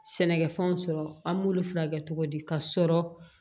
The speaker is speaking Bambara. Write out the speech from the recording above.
Sɛnɛkɛfɛnw sɔrɔ an b'olu furakɛ cogo di ka sɔrɔ